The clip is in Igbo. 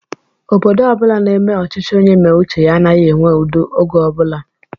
Obodo ọbula n'eme ọchịchị onye méé uche ya anaghị enwe udo ógè ọbula